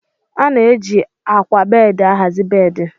A na-eji ákwà bedi ahazie bedi.